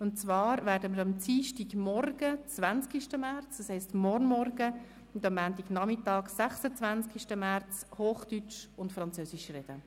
Und zwar werden wir am Dienstagmorgen, 20. März, das heisst morgen Vormittag, und am Montagnachmittag, 26. März, Hochdeutsch und Französisch reden.